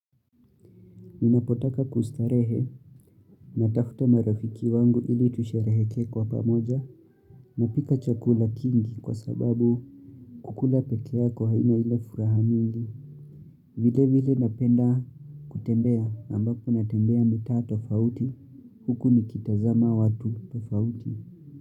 Ninapotaka kustarehe natafuta marafiki wangu ili tusherehekee kwa pamoja. Napika chakula kingi kwa sababu kukula pekee yako haina ile furaha mingi. Vile vile napenda kutembea ambapo natembea mitaa tofauti huku nikitazama watu tofauti.